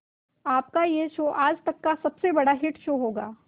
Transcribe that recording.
आपका यह शो आज तक का सबसे बड़ा हिट शो होगा